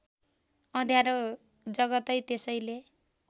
अँध्यारो जगतै त्यसैले